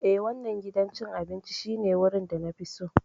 Ee, wannan gidan cin abinci shine wurin da na fi so.